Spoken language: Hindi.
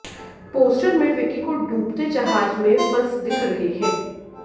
पोस्टर में विक्की को डूबते जहाज में फंस दिख रह हैं